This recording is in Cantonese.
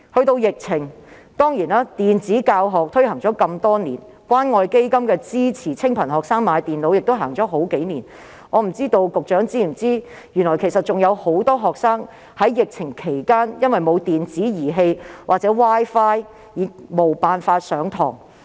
在疫情方面，雖然電子教學已推行多年，而資助清貧學生購買電腦的關愛基金項目亦已推行數年，但我不知道局長是否知悉有很多學生在疫情期間因沒有電子器材或 Wi-Fi 而無法上課？